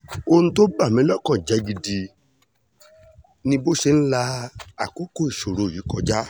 ohun tó bá ní lọ́kàn jẹ́ gidi ni bó ṣe ń la àkókò ìṣòro yìí kọjá